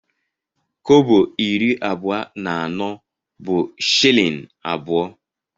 Kobo iri abụọ na anọ bụ shịlịn abụọ.